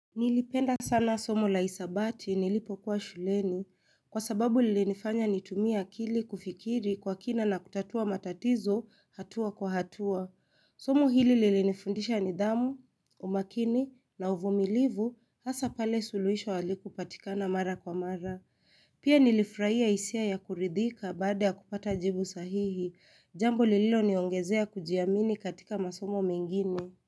Nilipenda sana somo la hisabati nilipokuwa shuleni. Kwa sababu lilinifanya nitumie akili kufikiri kwa kina na kutatua matatizo hatua kwa hatua. Somo hili lilinifundisha nidhamu, umakini na uvumilivu hasa pale suluhisho halikupatikana mara kwa mara. Pia nilifruahia hisia ya kuridhika baada ya kupata jibu sahihi. Jambo lililoniongezea kujiamini katika masomo mengine.